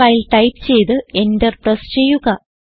while type ചെയ്ത് enter press ചെയ്യുക